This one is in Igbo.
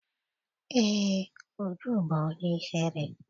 Eé, Uju bụ onye ihere